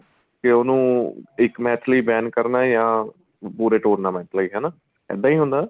ਤੇ ਉਹਨੂੰ ਇੱਕ match ਲਈ ban ਕਰਨਾ ਜਾਂ ਪੂਰੇ tournament ਲਈ ਹਨਾ ਇੱਦਾਂ ਈ ਹੁੰਦਾ